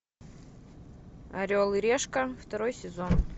орел и решка второй сезон